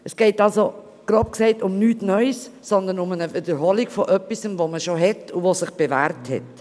Es geht grob gesagt um nichts Neues, sondern um die Wiederholung von etwas, das man bereits hat und das sich bewährt hat.